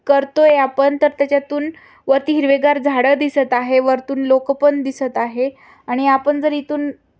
करतोय आपण तर त्याच्यातून वरती हिरवेगार झाड दिसत आहे वरतून लोक पण दिसत आहे आणि आपण जर इथून--